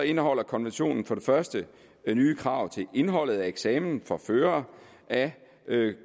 indeholder konventionen for det første nye krav til indholdet af eksamen for førere af